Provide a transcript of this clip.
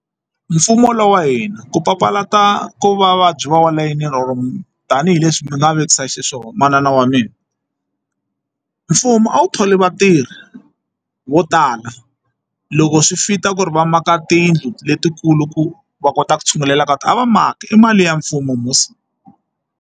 Mfumo wa lowa wa hina ku papalata ku vavabyi va wa tanihileswi ni nga vekisa xiswona manana wa mina mfumo a wu tholi vatirhi vo tala loko swi fit-a ku ri va maka tiyindlu letikulu ku va kota ku tshungulela ka tona a va maka i mali ya mfumo musi.